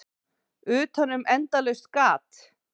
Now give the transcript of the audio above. Utanum endalaust gat.